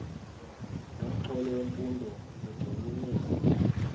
nomxholo wemfundo zigxininiswa